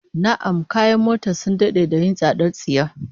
Na'am, kayan mota sun dade da yin tsadar tsiya